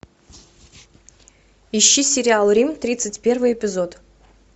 ищи сериал рим тридцать первый эпизод